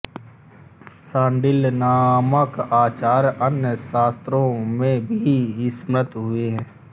शाण्डिल्य नामक आचार्य अन्य शास्त्रों में भी स्मृत हुए हैं